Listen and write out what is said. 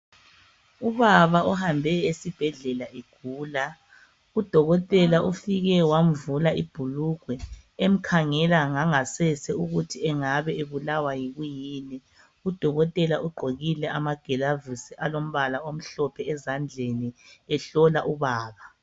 Ubaba ohambe esibhedlela egula. Udokotela ufike wamvula ibhulugwe. Emkhangela ngangasese ukuthi angabe ebulawa yikuyini. Udokotela ugqokile amagilavisi alombala omhlophe ezandleni. Ehlola ubaba.